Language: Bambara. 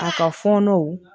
A ka fɔnɔw